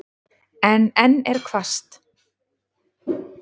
En enn er hvasst.